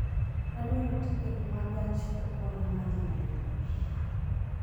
Adwaro tiket ma gach okoloma dhi Nairobi